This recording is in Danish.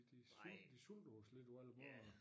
De sult de sulter os lidt på alle måder